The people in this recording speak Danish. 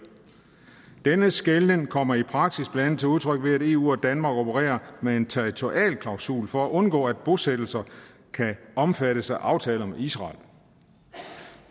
og tredive denne skelnen kommer i praksis blandt andet til udtryk ved at eu og danmark opererer med en territorialklausul for at undgå at bosættelser kan omfattes af aftaler med israel